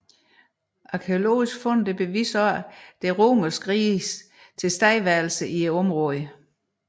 Arkæologiske fund beviser også Det romerske riges tilstedeværelse i området